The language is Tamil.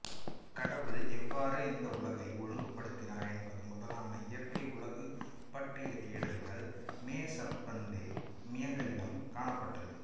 கடவுள் எவ்வாறு இந்த உலகத்தை ஒழுங்குபடுத்தினார் என்பது முதலான இயற்கை உலகு பற்றிய தேடல்கள் மெசெப்பத்தேமியகளிடம் காணப்பட்டது